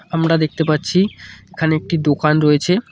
আমরা দেখতে পাচ্ছি এখানে একটি দোকান রয়েছে।